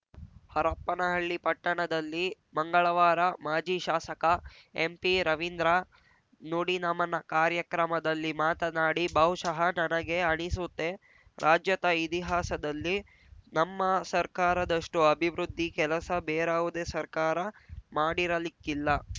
ಹರಪ್ಪನಹಳ್ಳಿ ಪಟ್ಟಣದಲ್ಲಿ ಮಂಗಳವಾರ ಮಾಜಿ ಶಾಸಕ ಎಂಪಿರವಿಂದ್ರ ನುಡಿನಮನ ಕಾರ್ಯಕ್ರಮದಲ್ಲಿ ಮಾತನಾಡಿ ಬಹುಶಃ ನನಗೆ ಅನಿಸುತ್ತೆ ರಾಜ್ಯದ ಇತಿಹಾಸದಲ್ಲಿ ನಮ್ಮ ಸರ್ಕಾರದಷ್ಟುಅಭಿವೃದ್ಧಿ ಕೆಲಸ ಬೇರಾವುದೇ ಸರ್ಕಾರ ಮಾಡಿರಲಿಕ್ಕಿಲ್ಲ